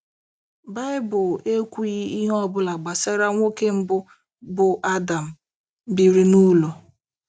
Baịbụl ekwughị ihe ọ bụla gbasara nwoke mbụ bụ́ Adam, biri n’ụlọ.